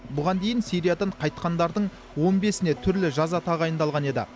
бұған дейін сириядан қайтқандардың он бесіне түрлі жаза тағайындалған еді